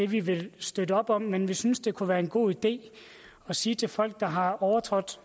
vi vil støtte op om men vi synes det kunne være en god idé at sige til folk der har overtrådt